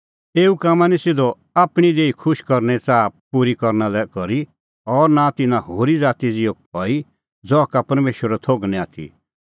एऊ कामां निं सिधअ आपणीं देही खुश करने च़ाहा पूरी करना लै करी और नां तिन्नां होरी ज़ाती ज़िहअ हई ज़हा का परमेशरो थोघ निं आथी